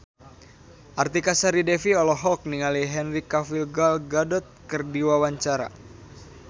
Artika Sari Devi olohok ningali Henry Cavill Gal Gadot keur diwawancara